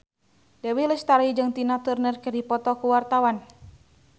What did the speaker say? Dewi Lestari jeung Tina Turner keur dipoto ku wartawan